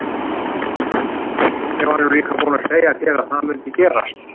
Ég var nú líka búinn að segja þér að það mundi gerast!